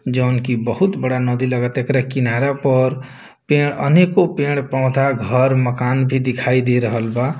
जोवन की बहुत बड़ा नदी लगाता एकरा किनारा पर पेड़ अनेको पेड़-पौधा घर मकान भी दिखाई दे रहल बा।